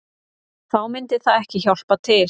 Þá myndi það ekki hjálpa til